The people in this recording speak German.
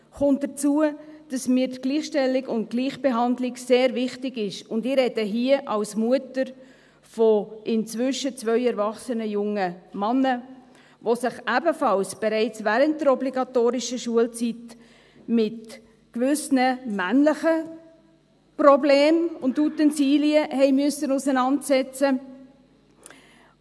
Kommt hinzu, dass mir die Gleichstellung und Gleichbehandlung sehr wichtig ist, und ich spreche hier als Mutter von zwei inzwischen erwachsenen jungen Männern, die sich ebenfalls bereits während der obligatorischen Schulzeit mit gewissen männlichen Problemen und Utensilien auseinandersetzen mussten.